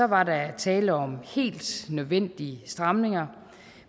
var der tale om helt nødvendige stramninger